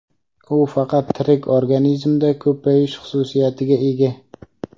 U faqat tirik organizmda ko‘payish xususiyatiga ega.